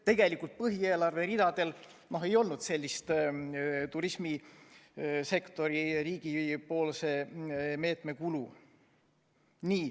Tegelikult põhieelarve ridadel ei olnud sellist turismisektori riigipoolse meetme kulu.